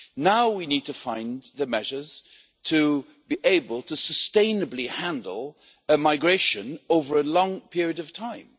Now we need to find the measures to be able to sustainably handle a migration over a long period of time.